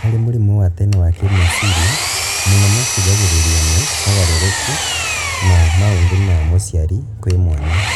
Harĩ mũrimũ wa tene wa kĩmeciria, mũno macũngagĩrĩrio nĩ mogarũrũku ma maũthĩ ma mũciari kwĩ mwana